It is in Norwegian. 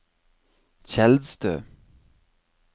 Tjeldstø